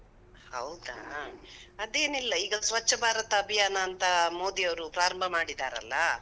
ಹೌದಾ? ಅದೇನಿಲ್ಲ, ಈಗ ಸ್ವಚ್ಛ ಭಾರತ ಅಭಿಯಾನ ಅಂತ ಮೋದಿ ಅವ್ರು ಪ್ರಾರಂಭ ಮಾಡಿದಾರಲ್ಲಾ.